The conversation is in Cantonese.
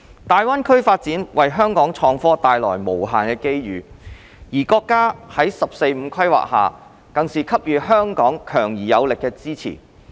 大灣區發展為香港創科帶來無限的機遇，而國家在"十四五"規劃下更是給予香港強而有力的支持。